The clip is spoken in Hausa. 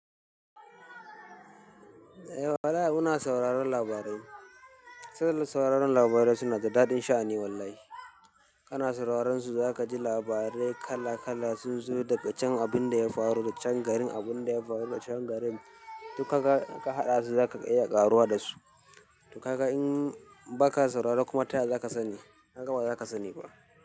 Eh, walahi muna sauraron labarai. Saboda sauraron labarai suna da daɗin sha'ani wallahi. Kana sauraron su za ka ji labarai kala kala, sun zo daga chan abun da ya faru, da ga chan garin abun da ya faru, da ga chan garin. Duk kaga in ka haɗa su za ka iya ƙaruwa da su. To kaga in ba ka sauraro kuma ta ya za ka sani? Ka ga ba za ka sani ba.